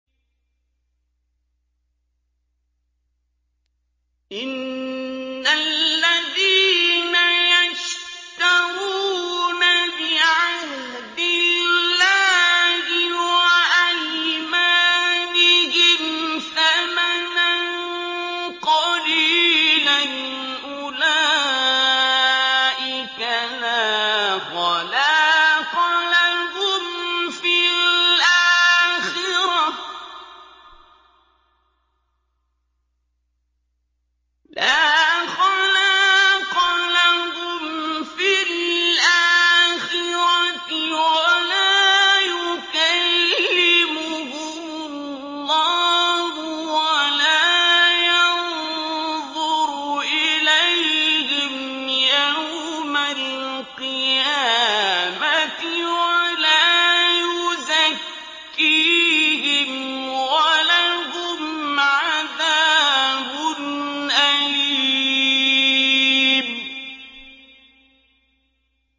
إِنَّ الَّذِينَ يَشْتَرُونَ بِعَهْدِ اللَّهِ وَأَيْمَانِهِمْ ثَمَنًا قَلِيلًا أُولَٰئِكَ لَا خَلَاقَ لَهُمْ فِي الْآخِرَةِ وَلَا يُكَلِّمُهُمُ اللَّهُ وَلَا يَنظُرُ إِلَيْهِمْ يَوْمَ الْقِيَامَةِ وَلَا يُزَكِّيهِمْ وَلَهُمْ عَذَابٌ أَلِيمٌ